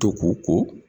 To ko